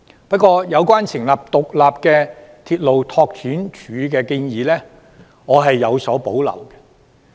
不過，有關成立獨立的鐵路拓展署的建議，我是有所保留的。